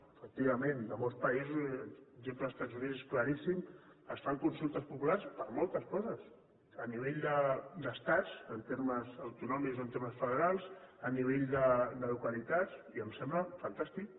efectivament en molts països l’exemple dels estats units és claríssim es fan consultes populars per moltes coses a nivell d’estats en termes autonòmics o en termes federals a nivell de localitats i em sembla fantàstic